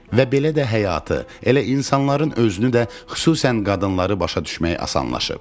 Və belə də həyatı, elə insanların özünü də, xüsusən qadınları başa düşmək asanlaşıb.